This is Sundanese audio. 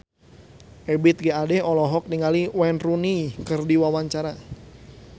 Ebith G. Ade olohok ningali Wayne Rooney keur diwawancara